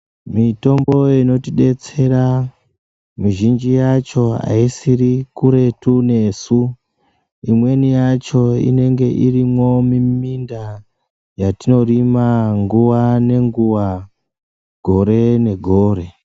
Mitombo inotidetsera mizhinji yacho aisiri kuretu nesu imweni yacho inenge irimomuminda yatinorima nguwa nenguwa gore negore .